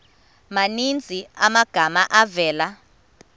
maninzi amagama avela